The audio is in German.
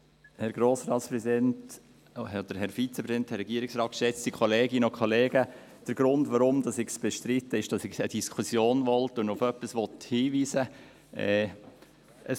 Der Grund, weshalb ich es bestreite ist, dass ich keine Diskussion will und auf etwas hinweisen will.